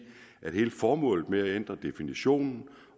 at hele formålet med at ændre definitionen